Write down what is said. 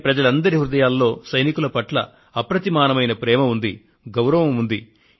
దేశంలోని ప్రజలందరి హృదయాలలో సైనికుల పట్ల అసమానమైన ప్రేమ ఉంది గౌరవం ఉంది